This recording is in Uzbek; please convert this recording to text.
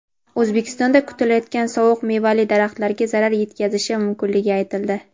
O‘zbekistonda kutilayotgan sovuq mevali daraxtlarga zarar yetkazishi mumkinligi aytildi.